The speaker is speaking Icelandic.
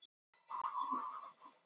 Geta tvíburar átt hvor sinn föðurinn?